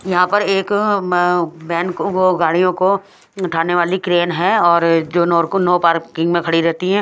यहां पर एक अ म बैन वो वो गाड़ियों को उठाने वाली क्रेन है और जो नूर को नो पार्किंग में खड़ी रहती है।